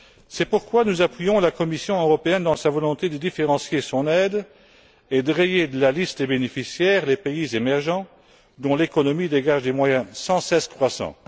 C'est pourquoi nous appuyons la Commission européenne dans sa volonté de différencier son aide et de rayer de la liste des bénéficiaires les pays émergents, dont l'économie dégage des moyens sans cesse croissants.